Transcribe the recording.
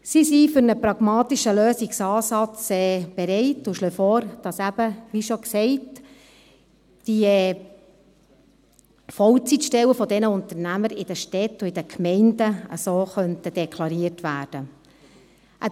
Sie sind für einen pragmatischen Lösungsansatz bereit, und schlagen vor, dass eben, wie schon gesagt, die Vollzeitstellen dieser Unternehmen in den Städten und den Gemeinden so deklariert werden könnten.